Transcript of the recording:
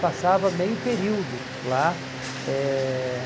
Passava meio período lá. Eh